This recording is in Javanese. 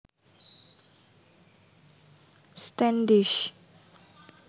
Standish